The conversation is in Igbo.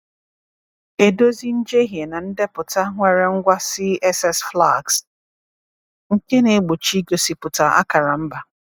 Edozi njehie na ndepụta nwere ngwa CSS flags nke na-egbochi igosipụta akara mba.